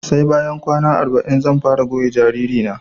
Sai bayan kwana arba'in zan fara goya jariri na